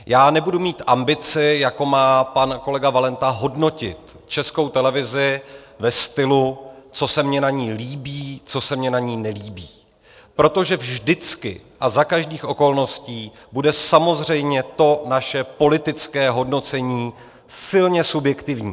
Já nebudu mít ambici, jako má pan kolega Valenta, hodnotit Českou televizi ve stylu, co se mně na ní líbí, co se mně na ní nelíbí, protože vždycky a za každých okolností bude samozřejmě to naše politické hodnocení silně subjektivní.